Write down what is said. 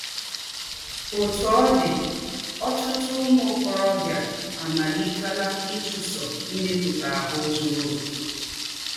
Ótú ọ́ dị́, ọ̀tụ̀tụ̀ ứmụ́ ọ̀kòròbìà àmálítè̄là ịchúsọ̀ ímèpútà áhụ́ “zúrù ọ̀kè.”